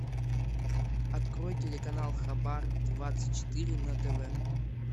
открой телеканал хабар двадцать четыре на тв